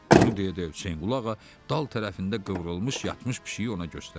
Bunu deyə-deyə Hüseynqulu Ağa dal tərəfində qıvrılmış yatmış pişiyi ona göstərdi.